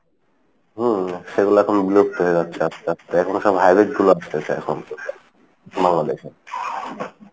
হম সেগুলো এখন বিলুপ্ত হয়ে যাচ্ছে আস্তে আস্তে এখন সব hybrid গুলা আসতেছে এখন বাংলাদেশে।